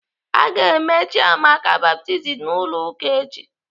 Aga eme Chiamaka baptizim n'ụlọ ụka echi.